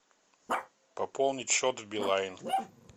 пополнить счет в билайн